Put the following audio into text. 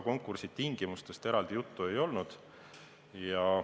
Konkursi tingimustest eraldi juttu ei olnud.